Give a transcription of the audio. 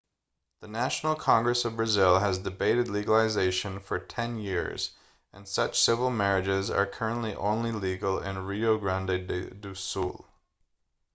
the national congress of brazil has debated legalization for 10 years and such civil marriages are currently only legal in rio grande do sul